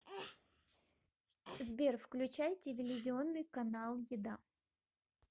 сбер включай телевизионный канал еда